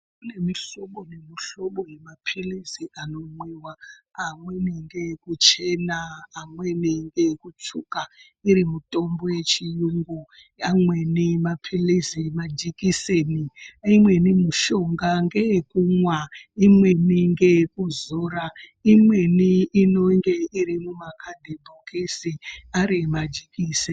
Kune mihlobo nemihlobo yemapilizi anomwiwa amweni ngeekuchena, amweni ngeekutsvuka iri mitombo yechiyungu, amweni mapilizi majekiseni imweni mishonga ngeyekumwa, imweni ngeyekuzora, imweni inenge iri mumakhadhibhokisi ari majikiseni.